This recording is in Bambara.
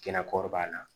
Kɛnɛ kɔrɔbaya la